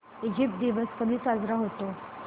Egypt दिवस कधी साजरा होतो